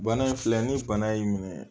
Bana in filɛ ni bana y'i minɛ